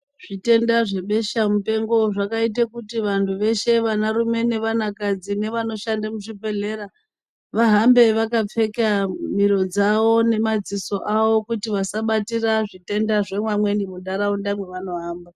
Zvitenda zvebesha mupengo zvakaita kuti vantu veshe vana varumne ne vana kadzi nevano shandiswa muzvibhedhlera vahambe vakavhara miro nemadziso awo kuti vasabatira zvitenda zvevamweni muntaraunda mavano hamba.